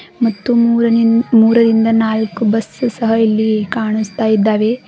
ಮತ್ತು ಮೂರನಿ ಮೂರರಿಂದ ನಾಲ್ಕು ಬಸ್ಸು ಸಹ ಇಲ್ಲಿ ಕಾಣುಸ್ತಾ ಇದ್ದಾವೆ.